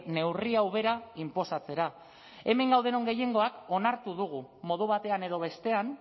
neurri hau bera inposatzera hemen gaudenon gehiengoak onartu dugu modu batean edo bestean